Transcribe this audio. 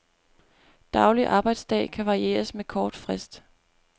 Daglig arbejdsdag kan varieres med kort frist.